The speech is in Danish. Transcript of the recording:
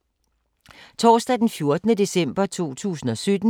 Torsdag d. 14. december 2017